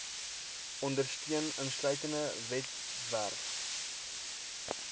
ondersteun insluitend webwerf